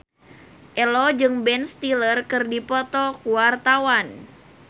Ello jeung Ben Stiller keur dipoto ku wartawan